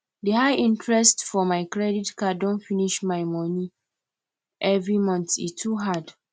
the high interest for my credit card don finish my money every monthe too hard